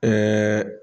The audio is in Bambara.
Ɛɛ